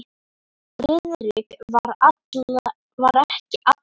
Friðrik var ekki allra.